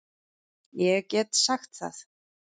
Ég get sagt það.